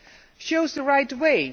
it shows the right way.